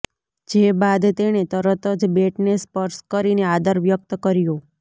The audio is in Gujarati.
જે બાદ તેણે તરત જ બેટને સ્પર્શ કરીને આદર વ્યક્ત કર્યો